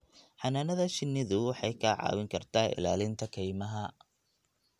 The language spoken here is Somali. Xannaanada shinnidu waxay kaa caawin kartaa ilaalinta kaymaha.